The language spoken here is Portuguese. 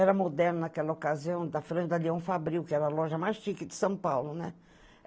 Era moderno naquela ocasião, da franja da Leão Fabril, que era a loja mais chique de São Paulo, né?